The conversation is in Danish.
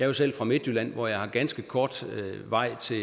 jo selv fra midtjylland hvor jeg har ganske kort vej til